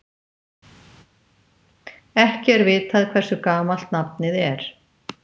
Ekki er vitað hversu gamalt nafnið er.